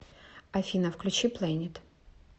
афина включи плэнет